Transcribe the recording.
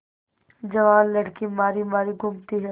जवान लड़की मारी मारी घूमती है